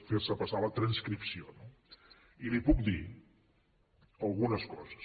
fer se passar la transcripció no i li puc dir algunes coses